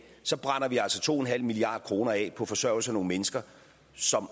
brænder vi altså to milliard kroner af på forsørgelse af nogle mennesker som